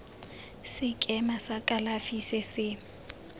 sekema sa kalafi se se